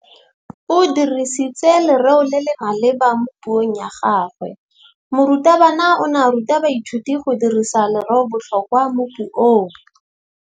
O dirisitse lerêo le le maleba mo puông ya gagwe. Morutabana o ne a ruta baithuti go dirisa lêrêôbotlhôkwa mo puong.